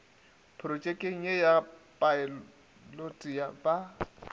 protšekeng ye ya phaelote ba